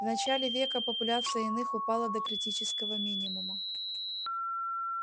в начале века популяция иных упала до критического минимума